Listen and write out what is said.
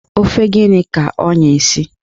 Ofe gịnị ka oyna-esi?